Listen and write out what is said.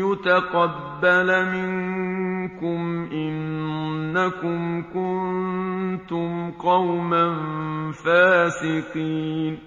يُتَقَبَّلَ مِنكُمْ ۖ إِنَّكُمْ كُنتُمْ قَوْمًا فَاسِقِينَ